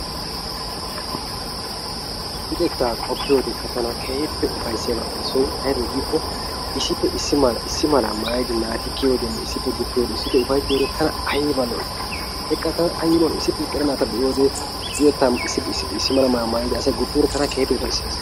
Luxettaa qoppiyoode tana keehi ufayssiyabatuppe issoy aybe giikkoo issippe issi malaa issi malaa maayidi naati kiyiyoodenne issippe guppiyoode issippe ufayittiyode tana ayba lo7ii beqqaa tana ayiba lo7ii isdippe eqqida naata be7iyode luxettaa issi mala maayuwa maayidi asay guppiyoode tana keehippe ufaysses.